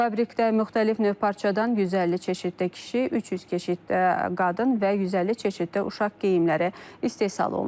Fabrikdə müxtəlif növ parçadan 150 çeşiddə kişi, 300 çeşiddə qadın və 150 çeşiddə uşaq geyimləri istehsal olunur.